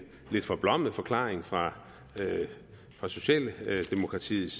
lidt forblommet forklaring fra fra socialdemokratiets